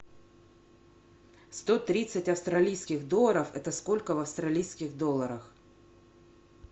сто тридцать австралийских долларов это сколько в австралийских долларах